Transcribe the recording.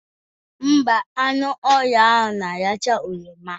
Ḿbà, anụ ọhịa ahụ na-aracha oroma